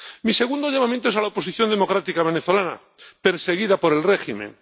Mi segundo llamamiento es a la oposición democrática venezolana, perseguida por el régimen.